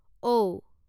ঔ